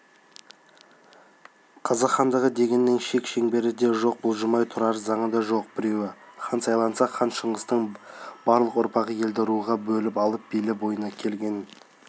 қазақ хандығы дегеннің шек-шеңбері де жоқ бұлжымай тұрар заңы да жоқ біреуі хан сайланса хан шыңғыстың барлық ұрпағы елді ру-руға бөліп алып билеп ойына келгенін